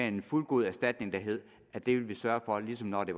en fuldgod erstatning der hed at det vil vi sørge for ligesom når det